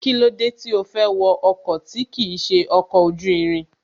Kílódé tí ó fẹ́ wọ ọkọ̀ tí kìí ṣe ọkọ̀ ojú irin